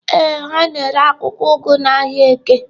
Ee, ha na-ere akwụkwọ ugu n'ahịa Eke.